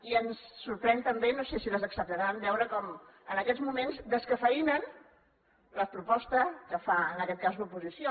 i ens sorprèn també no sé si les acceptaran veure com en aquests moments descafeïnen la proposta que fa en aquest cas l’oposició